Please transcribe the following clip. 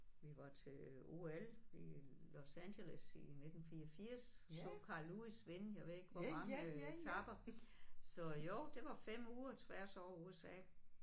Vi var til OL i Los Angeles i 1984 så Carl Lewis vinde jeg ved ikke hvor mange etaper så jo det var 5 uger tværs over USA